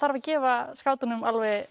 að gefa skátunum